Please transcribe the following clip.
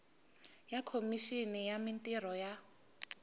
ya khomixini ya mintirho ya